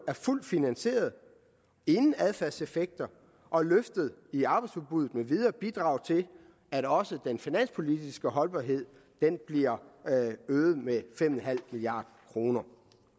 er fuldt finansieret inden adfærdseffekter og løftet i arbejdsudbuddet med videre bidrager til at også den finanspolitiske holdbarhed bliver øget med fem milliard kroner